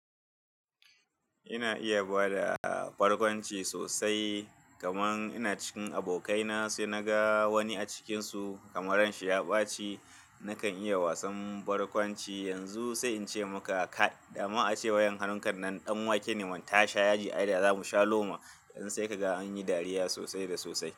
Ina iya bada barkwanci sosai, kamar ina cikin abokai na sai na ga wani a cikinsu kamar ranshiya ɓaci, nakan iya wasan barkwanci yanzu sai in ce maka "kai!" dama ace wayan hannun kan nan ɗan wake ne man tasha ya ji aida zamu sha loma, sai kaga anyi dariya sosai da sosai.